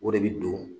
O de bi don